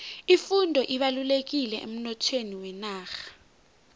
ifundo ibalulekile emnothweni wenarha